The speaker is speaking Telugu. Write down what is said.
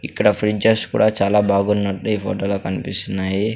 ఇక్కడ ఫ్రిడ్జ్స కూడా చాలా బాగున్నట్టు ఈ ఫోటోలో కనిపిస్తున్నాయి.